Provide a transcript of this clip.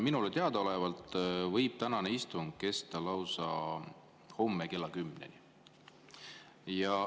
Minule teadaolevalt võib tänane istung kesta lausa homme kella 10-ni.